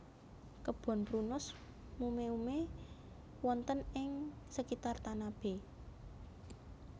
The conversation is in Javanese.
Kebon Prunus mume ume wonten ing sekitar Tanabe